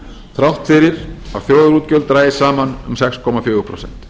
þrátt fyrir að þjóðarútgjöld dragist saman um sex komma fjögur prósent